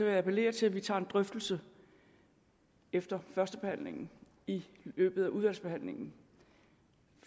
jeg appellere til at vi tager en drøftelse efter førstebehandlingen i løbet af udvalgsbehandlingen